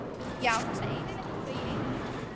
Já, þessa eyðileggingu á einu lífi.